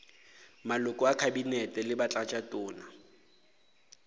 maloko a kabinete le batlatšatona